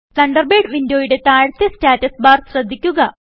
Thunderbird വിന്ഡോയുടെ താഴത്തെ status bar ശ്രദ്ധിക്കുക